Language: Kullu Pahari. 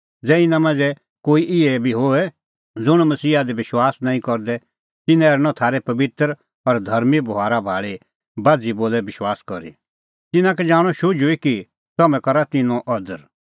ज़ै इना मांझ़ै कोई इहै बी होए ज़ुंण मसीहा दी विश्वास नांईं करदै तिन्नां हेरनअ थारै पबित्र और धर्मीं बभारा भाल़ी बाझ़ी बोलै विश्वास करी तिन्नां का जाणअ शुझुई कि तम्हैं करा तिन्नों अदर